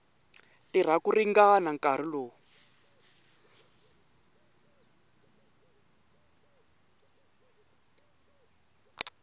tirha ku ringana nkarhi lowu